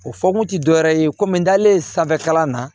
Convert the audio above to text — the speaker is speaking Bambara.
O fɔkun ti dɔwɛrɛ ye komi n dalen sanfɛ kalan na